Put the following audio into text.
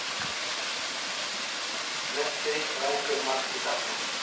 Messi rændur marki þarna.